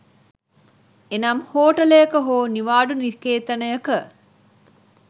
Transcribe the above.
එනම් හෝටලයක හෝ නිවාඩු නිකේතනයක